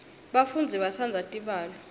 bafundzi batsandza tibalo